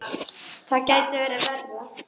Það gæti verið verra.